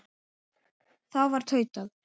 Þá var tautað